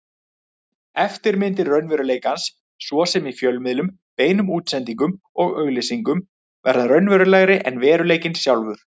Eftirmyndir raunveruleikans, svo sem í fjölmiðlum, beinum útsendingum og auglýsingum, verða raunverulegri en veruleikinn sjálfur.